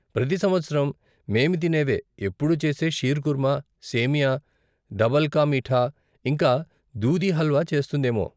ప్రతి సంవత్సరం మేము తినేవే, ఎప్పుడూ చేసే షీర్కుర్మా, సేమియా, డబల్కా మీఠా, ఇంకా దూదీ హల్వా చేస్తుందేమో.